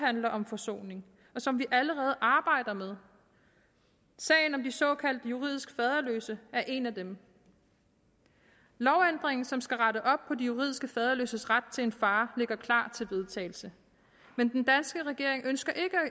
handler om forsoning og som vi allerede arbejder med sagen om de såkaldt juridisk faderløse er en af dem lovændringen som skal rette op på de juridiske faderløses ret til en far ligger klar til vedtagelse men den danske regering ønsker